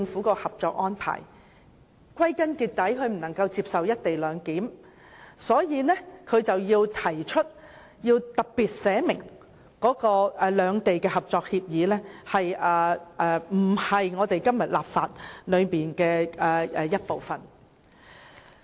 歸根結底，他無法接受"一地兩檢"，所以提出要特別訂明兩地的《合作安排》不屬香港法律的一部分。